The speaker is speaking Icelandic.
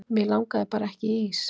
mig langaði bara ekki í ís